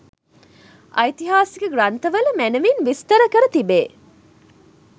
ඓතිහාසික ග්‍රන්ථවල මැනැවින් විස්තර කර තිබේ.